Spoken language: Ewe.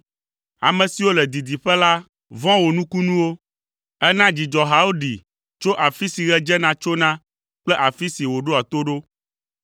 Ame siwo le didiƒe la vɔ̃ wò nukunuwo; èna dzidzɔhawo ɖi tso afi si ɣe dzena tsona kple afi si wòɖoa to ɖo.